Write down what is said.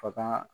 Faga